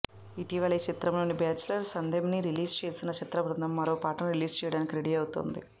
ఇటీవలే ఈ చిత్రంలోని బ్యాచ్లర్స్ అంథెమ్ని రిలీజ్ చేసిన చిత్ర బృందం మరో పాటని రిలీజ్ చేయడానికి రెడీ అవుతోంది